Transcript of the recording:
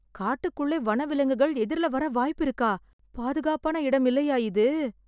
காட்டுக்குள்ளே வனவிலங்குகள் எதிர்ல‌ வர வாய்ப்பிருக்கா? பாதுகாப்பான இடம் இல்லையா இது?